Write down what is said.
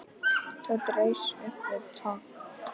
Tóti reis upp við dogg.